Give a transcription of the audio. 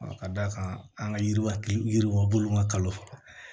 Ka d'a kan an ka yiriwa yiriwa bolo ma kalo